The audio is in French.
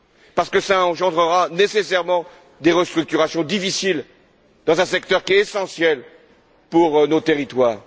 Parce que cela engendrera nécessairement des restructurations difficiles dans un secteur qui est essentiel pour nos territoires.